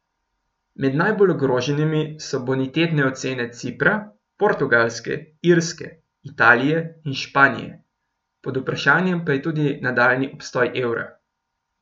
Med najbolj ogroženimi so bonitetne ocene Cipra, Portugalske, Irske, Italije in Španije, pod vprašajem pa je tudi nadaljnji obstoj evra.